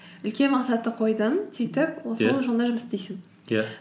үлкен мақсатты қойдың сөйтіп жолыңда жұмыс істейсің иә